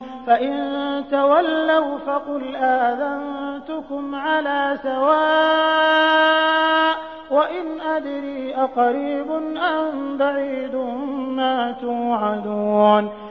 فَإِن تَوَلَّوْا فَقُلْ آذَنتُكُمْ عَلَىٰ سَوَاءٍ ۖ وَإِنْ أَدْرِي أَقَرِيبٌ أَم بَعِيدٌ مَّا تُوعَدُونَ